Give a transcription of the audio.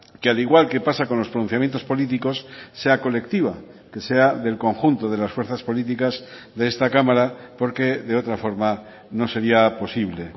que al igual que pasa con los pronunciamientos políticos sea colectiva que sea del conjunto de las fuerzas políticas de esta cámara porque de otra forma no sería posible